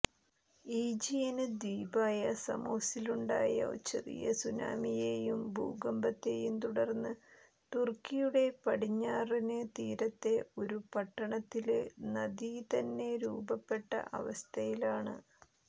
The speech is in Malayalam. ഈജിയന് ദ്വീപായ സമോസിലുണ്ടായ ചെറിയ സുനാമിയെയും ഭൂകമ്പത്തെയും തുടര്ന്ന് തുര്ക്കിയുടെ പടിഞ്ഞാറന് തീരത്തെ ഒരുപട്ടണത്തില് നദി തന്നെ രൂപപ്പെട്ട അവസ്ഥയിലാണ്